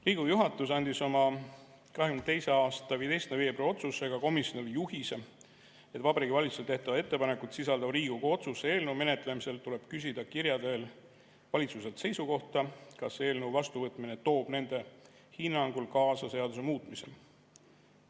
Riigikogu juhatus andis oma 2022. aasta 15. veebruari otsusega komisjonile juhise, et Vabariigi Valitsusele tehtavat ettepanekut sisaldava Riigikogu otsuse eelnõu menetlemisel tuleb küsida kirja teel valitsuse seisukohta, kas eelnõu vastuvõtmine toob nende hinnangul kaasa seaduse muutmise.